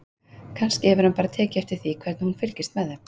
Kannski hefur hann bara tekið eftir því hvernig hún fylgist með þeim.